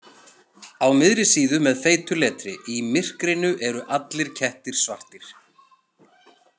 Á miðri síðu með feitu letri: Í MYRKRINU ERU ALLIR KETTIR SVARTIR.